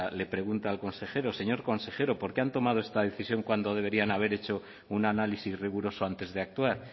le pregunta al consejero señor consejero por qué han tomado esta decisión cuando deberían haber hecho un análisis riguroso antes de actuar